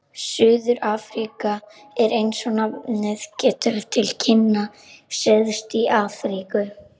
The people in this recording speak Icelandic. Suður-Afríka er, eins og nafnið gefur til kynna, syðst í Afríku.